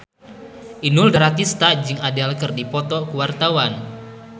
Inul Daratista jeung Adele keur dipoto ku wartawan